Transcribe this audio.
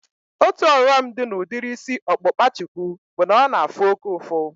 Otu ọghọm dị na udiri isi ọkpụkpa shuku bụ na ọ na-afụ oke ụfụ